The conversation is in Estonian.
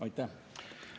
Aitäh!